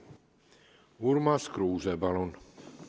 Urmas Kruuse, palun!